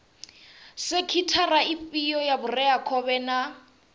sekhithara ifhio ya vhureakhovhe na